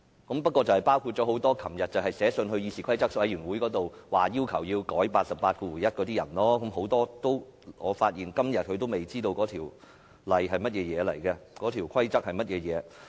那些議員包括多位昨天去信要求議事規則委員會修改第881條的同事，但我發現他們到了今天仍未知道有關條文或規則的內容。